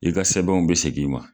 I ka sɛbɛnw be segin i ma.